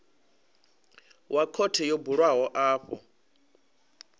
wa khothe yo bulwaho afho